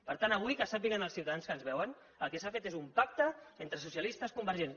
per tant avui que sàpiguen els ciutadans que ens veuen que el que s’ha fet és un pacte entre socialistes i convergents